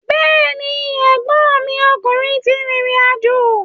Bẹ́ẹ̀ni, ẹ̀gbọ́nmi ọkùnrin ti rìrìn àjò.